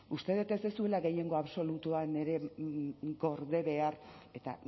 uste dut ez duzuela gehiengo absolutuan ere gorde behar eta